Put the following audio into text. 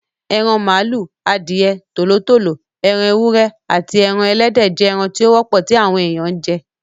Eran màlúù, adìẹ, Tòló tòló, ẹran ewúrẹ́, aàti ẹran Ẹlẹ́dẹ̀ jẹ́ ẹran tí ó wọ́pọ̀ tí àwọn èèyàn ń jẹ.